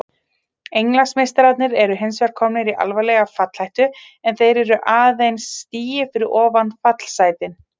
Englandsmeistararnir eru hinsvegar komnir í alvarlega fallhættu en þeir eru aðeins stigi fyrir ofan fallsætin.